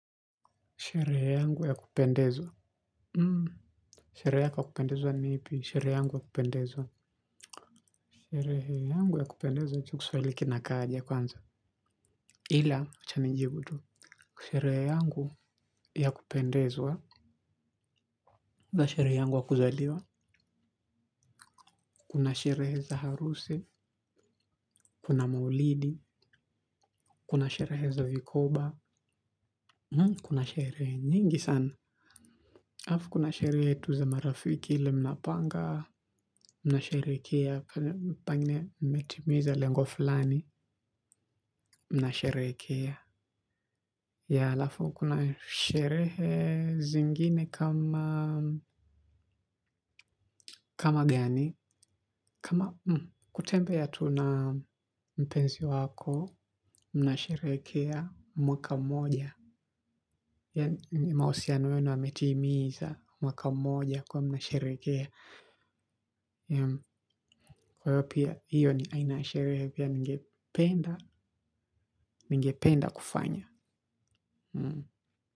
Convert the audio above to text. Sherehe yangu ya kupendezwa. Sherehe yako ya kupendezwa ni ipi? Sherehe yangu ya kupendezwa. Sherehe yangu ya kupendezwa hicho kiswali kinakaa aje kwanza. Ila acha nijibu tu. Sherehe yangu ya kupendezwa. Kuna sherehe yangu ya kuzaliwa. Kuna sherehe za harusi. Kuna maulidi. Kuna sherehe za vikoba. Kuna sherehe nyingi sana. Halafu kuna sherehe tu za marafiki ile mnapanga, mnasherehekea, pengine mmetimiza lengo fulani, mnasherehekea. Yeah halafu kuna sherehe zingine kama kama gani, kama kutembea tu na mpenzi wako, mnasherehekea mwaka mmoja yaani mahusiano yenu yametimiza mwaka mmoja kwa hiyo mnasherehekea. Kwa hiyo pia hiyo ni aina sherehe pia ningependa kufanya.